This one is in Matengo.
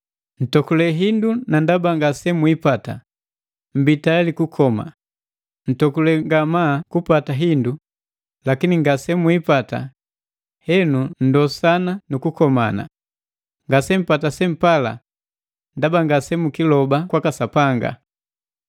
Ntokule hindu na ndaba ngasemwipata mmbi tayali kukoma, ntokule ngamaa kupata hindu, lakini ngasemwiipata, henu nndosana nu kukomana. Ngasempata sempala ndaba ngasemukiloba kwaka Sapanga.